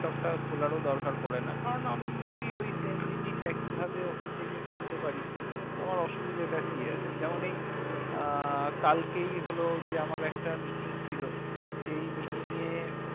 laptop খোলারও দরকার পড়েনা। কারণ আমি যদি ওই same জিনিস একই ভাবে ওখান থেকে করতে পার, তো আমার অসুবিধে টা কি আছে। যেমন এই আহ কালকেই হলো যে আমার একটা meeting ছিল, সেই meeting এ